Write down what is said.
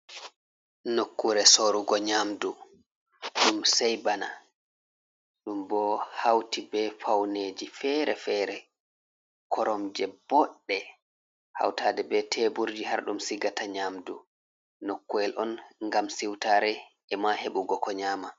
Nokkure sorugo nyamdu ɗum sei bana. Ɗum bo hauti be fauneji fere-fere. Koromje boɗɗe, hautade be teburji har ɗum sigata nyamdu. Nokku’el on ngam siutare e'ma heɓugo ko nyama.